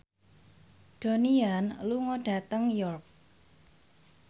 Donnie Yan lunga dhateng York